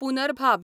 पुनरभाब